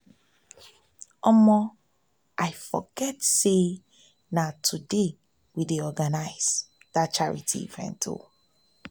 i forget say na today we dey organize dat charity event